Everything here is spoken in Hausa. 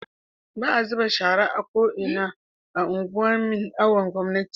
baa zubarda da shara a ko'ina a unguwan nin awon gomnati